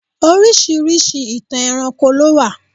Orisirisi ìtàn ẹranko lo wa.